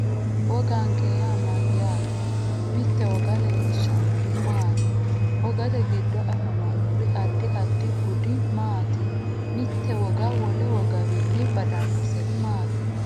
Woganke yaa mayaate mitte woga leelishannori maati wogate giddo afamanori addi addi budi maati mitte woga wole wogawiini badanoseri maati